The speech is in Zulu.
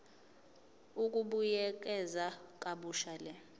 ukubuyekeza kabusha le